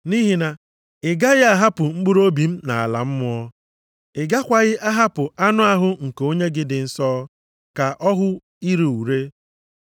nʼihi na ị gaghị ahapụ mkpụrụobi m nʼala mmụọ, ị gakwaghị ahapụ anụ ahụ nke Onye gị dị nsọ ka ọ hụ ire ure.